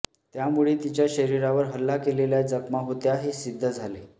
त्यामुळे तिच्या शरीरावर हल्ला केलेल्या जखमा होत्या हे सिद्ध झाले